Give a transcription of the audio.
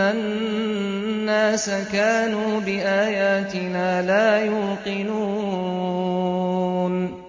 النَّاسَ كَانُوا بِآيَاتِنَا لَا يُوقِنُونَ